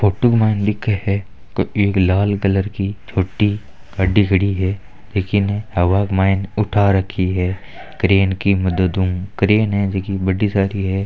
ओटो के मायने लिखे है इ लाल कलर की छोटी गाड्डी खड़ी है इन्ने हवा के मायने उठा रखी है करेन की मदद ऊ करेन है जी की बड्डी सारी है।